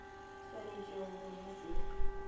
sw anetšego go ba se